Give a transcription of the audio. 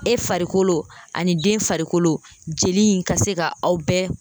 E farikolo ani den farikolo jeli in ka se ka aw bɛɛ